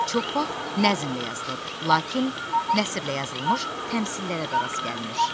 Çox vaxt nəzmlə yazılır, lakin nəsrə yazılmış təmsillərə də rast gəlinir.